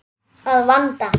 Að vanda.